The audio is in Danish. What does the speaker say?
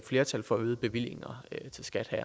flertal for øgede bevillinger til skat